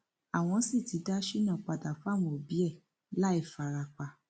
àwọn sì ti dá shina padà fáwọn òbí ẹ láì fara pa